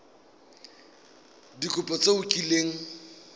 ka dikopo tse o kileng